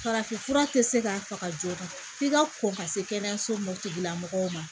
Farafinfura tɛ se ka faga joona f'i ka kɔn ka se kɛnɛyaso ma o tigila mɔgɔ ma